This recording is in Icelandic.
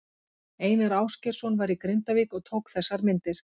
Einar Ásgeirsson var í Grindavík og tók þessar myndir.